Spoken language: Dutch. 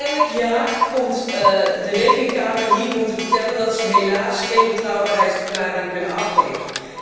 Elk jaar komt de Rekenkamer hier om te vertellen dat zij helaas geen betrouwbaarheidsverklaring kan afgeven.